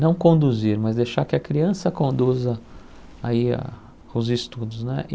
Não conduzir, mas deixar que a criança conduza aí a os estudos né.